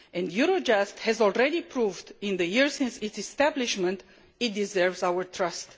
Eurojust has already proved in the years since its establishment that it deserves our trust.